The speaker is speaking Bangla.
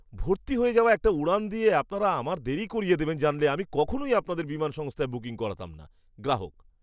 ভর্তি হয়ে যাওয়া একটা উড়ান দিয়ে আপনারা আমার দেরি করিয়ে দেবেন জানলে আমি কখনওই আপনাদের বিমান সংস্থায় বুকিং করাতাম না। গ্রাহক